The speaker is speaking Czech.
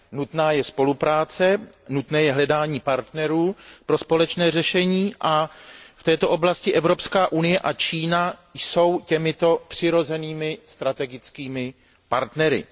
Nutná je spolupráce, nutné je hledání partnerů pro společné řešení a v této oblasti Evropská unie a Čína jsou těmito přirozenými strategickými partnery.